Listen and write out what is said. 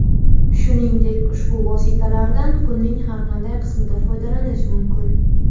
Shuningdek, ushbu vositalardan kunning har qanday qismida foydalanish mumkin.